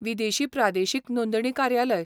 विदेशी प्रादेशीक नोंदणी कार्यालय.